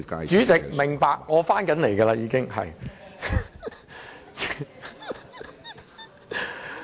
主席，明白，我將要說回正題。